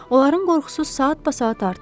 Onların qorxusu saatbasaat artırdı.